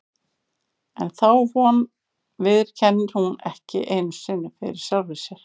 En þá von viðurkennir hún ekki einu sinni fyrir sjálfri sér.